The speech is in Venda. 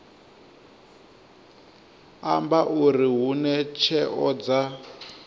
amba uri hune tsheo dza